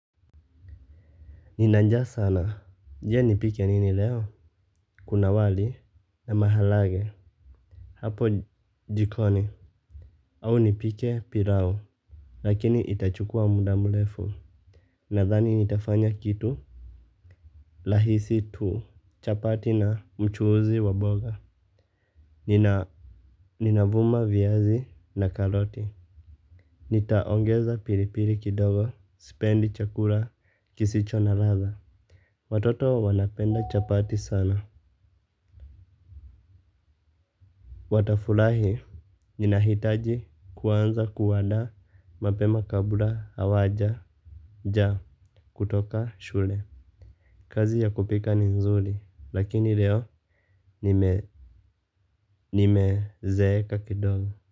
Nina njaa sana. Je nipike nini leo? Kuna wali na mahalagwe. Hapo jikoni. Au nipike pirao. Lakini itachukua muda mulefu. Nadhani nitafanya kitu. Lahisi tu. Chapati na mchuhuzi wa boga. Ninavuma viazi na karoti. Nitaongeza piripiri kidogo. Sipendi chakura. Kisicho na radha. Watoto wanapenda chapati sana. Watafulahi ninahitaji kuanza kuandaa mapema kabla awaja jaa kutoka shule. Kazi ya kupika ni nzuri lakini leo nimezeeka kidogo.